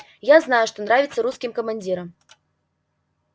я знаю что нравится русским командирам